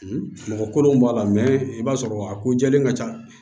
Mɔgɔ kolon b'a la i b'a sɔrɔ a ko jɛlen ka ca